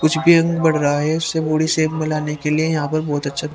कुछ भी अंग बढ़ रहा है उसे बॉडी शेप में लाने के लिए यहाँ पर बहुत अच्छा--